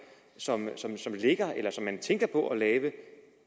som ligger eller som man tænker på at lave